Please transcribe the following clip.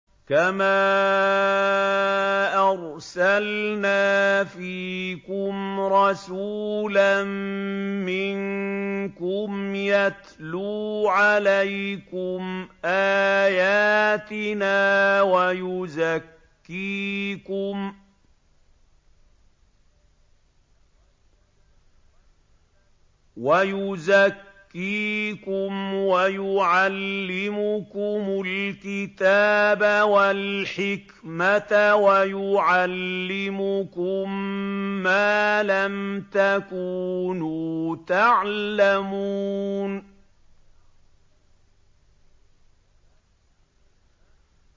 كَمَا أَرْسَلْنَا فِيكُمْ رَسُولًا مِّنكُمْ يَتْلُو عَلَيْكُمْ آيَاتِنَا وَيُزَكِّيكُمْ وَيُعَلِّمُكُمُ الْكِتَابَ وَالْحِكْمَةَ وَيُعَلِّمُكُم مَّا لَمْ تَكُونُوا تَعْلَمُونَ